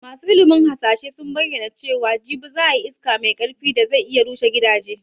Masu ilimin hasashe sun bayyana cewa jibi za a yi iska mai karfi da zai iya rushe gidaje